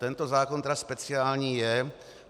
Tento zákon tedy speciální je.